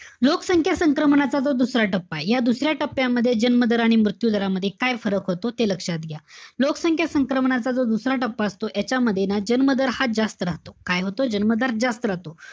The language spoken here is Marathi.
लोकसंख्या संक्रमणाचा जो दुसरा टप्पाय, या दुसऱ्या टप्प्याच्यामध्ये जन्म दर आणि मृत्यू दरामध्ये काय फरक होतो, ते लक्षात घ्या. लोकसंख्या संक्रमणाचा जो दुसरा टप्पा असतो. यांच्यामध्ये ना, जन्म दर हा जास्त राहतो. काय होतो? जन्म दर जास्त राहतो.